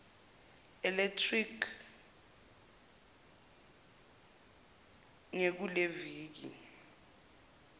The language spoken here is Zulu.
electric ge kuleliviki